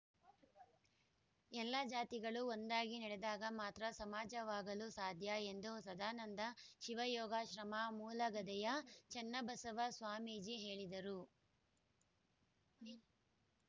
ಎಲ್ಲಾ ಜಾತಿಗಳು ಒಂದಾಗಿ ನಡೆದಾಗ ಮಾತ್ರ ಸಮಾಜವಾಗಲು ಸಾಧ್ಯ ಎಂದು ಸದಾನಂದ ಶಿವಯೋಗಾಶ್ರಮ ಮೂಲೆಗದ್ದೆಯ ಚನ್ನಬಸವ ಸ್ವಾಮೀಜಿ ಹೇಳಿದರು